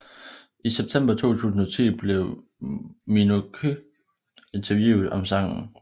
I september 2010 blev Minogue interviewet om sangen